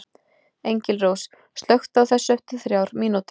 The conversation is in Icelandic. Engilrós, slökktu á þessu eftir þrjár mínútur.